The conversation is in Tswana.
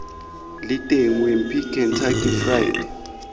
leng teng wimpy kentucky fried